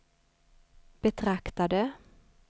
betraktade